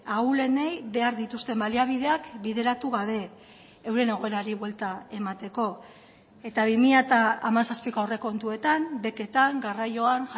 ahulenei behar dituzten baliabideak bideratu gabe euren egoerari buelta emateko eta bi mila hamazazpiko aurrekontuetan beketan garraioan